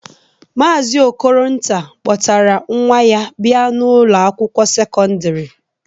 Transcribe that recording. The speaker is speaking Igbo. Maazi Okolonta kpọtara nwa ya bịa n'Ụlọ akwụkwọ sekọndrị.